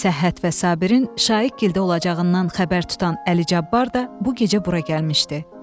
Səhhət və Sabirin Şaiqgildə olacağından xəbər tutan Əli Cabbar da bu gecə bura gəlmişdi.